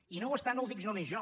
i no ho està no ho dic només jo